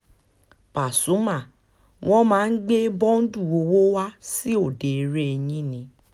pasumà wọn máa ń gbé bọ́ǹdù owó wa sí òde eré yín ni